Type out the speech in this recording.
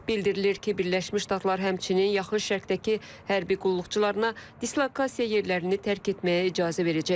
Bildirilir ki, Birləşmiş Ştatlar həmçinin yaxın şərqdəki hərbi qulluqçularına dislokasiya yerlərini tərk etməyə icazə verəcək.